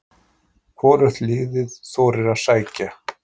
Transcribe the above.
Hvorugt liðið þorir að sækja.